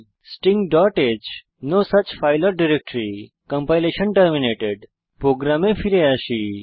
stingh no such file or directory compilation terminated প্রোগ্রামে ফিরে আসি